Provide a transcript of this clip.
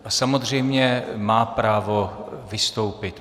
A samozřejmě má právo vystoupit.